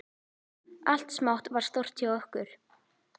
Allt smátt varð stórt hjá okkur.